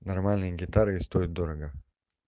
нормальные гитары и стоят дорого